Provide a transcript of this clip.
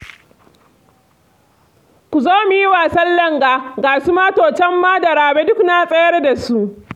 Ku zo mu yi wasan langa, ga su Mato can ma da Rabe duk na tsayar da su